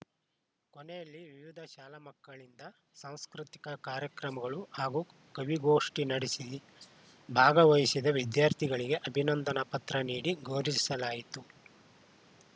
ಕೊನೆಯಲ್ಲಿ ವಿವಿಧ ಶಾಲಾ ಮಕ್ಕಳಿಂದ ಸಾಂಸ್ಕೃತಿಕ ಕಾರ್ಯಕ್ರಮಗಳು ಹಾಗೂ ಕವಿಗೋಷ್ಠಿ ನಡೆಸಿ ಭಾಗವಹಿಸಿದ ವಿದ್ಯಾರ್ಥಿಗಳಿಗೆ ಅಭಿನಂದನಾ ಪತ್ರ ನೀಡಿ ಗೌರಿವಿಸಲಾಯಿತು